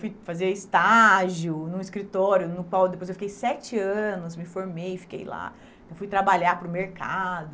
Fui fazer estágio no escritório no qual depois eu fiquei sete anos me formei e fiquei lá fui trabalhar para o mercado.